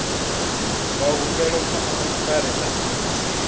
nga humbelwa kha mufarisa muofisiri